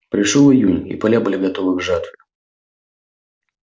пришёл июнь и поля были готовы к жатве